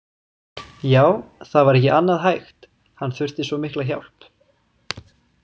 Já, það var ekki annað hægt, hann þurfti svo mikla hjálp.